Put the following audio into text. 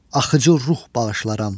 Axıcı ruh bağışlaram.